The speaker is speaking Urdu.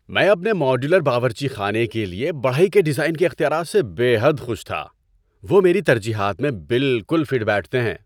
میں اپنے ماڈیولر باورچی خانے کے لیے بڑھئی کے ڈیزائن کے اختیارات سے بے حد خوش تھا۔ وہ میری ترجیحات میں بالکل فٹ بیٹھتے ہیں!